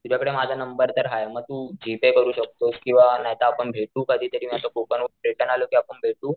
तुझ्याकडे माझा नंबर तर आहे तर म तू जी-पेय करू शकतोस किंवा नाहीतर आपण भेटू कधी तरी आता मी कोकण वरून रिटर्न आलो कि आपण भेटू